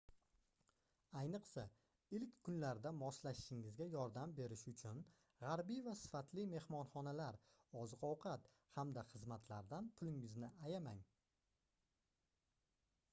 ayniqsa ilk kunlarda moslashishingizga yordam berishi uchun gʻarbiy va sifatli mehmonxonalar oziq-ovqat hamda xizmatlardan pulingizni ayamang